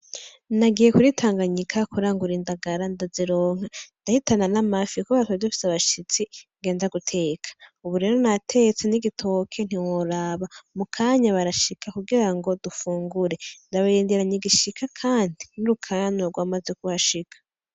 Nagiye kuri tanganyika kurangura indagara ndazironka ndahitana n'amafi kubera twari dufise abashitsi ngenda guteka, ubu rero natetse n'igitoki ntiwaraba mukanya barashika kugira ngo dufungure ndabarindiranye igishika kandi n'urukanywa gwamaze kuhashika.